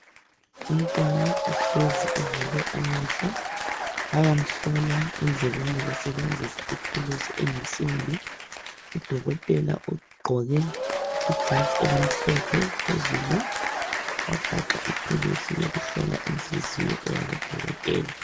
Umntwana uhlezi uvule amehlo, bayamhlola endlebeni besebenzisa ithuluzi eyinsimbi, udokotela ugqoke ijazi elimhlophe phezulu, wagaxa ithuluzi yokuhlola inhliziyo eyabodokotela.